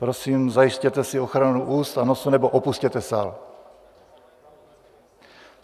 Prosím, zajistěte si ochranu úst a nosu, nebo opusťte sál.